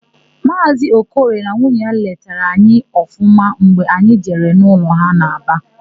Maazị Okoye na nwunye ya letara anyị ọfụma mgbe anyị jere n'ụlọ ha n'Aba.